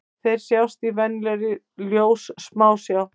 Þeir sjást í venjulegri ljóssmásjá.